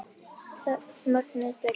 Mögnuð byrjun.